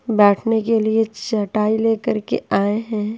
बैठने के लिए चटाई लेकर के आए हैं।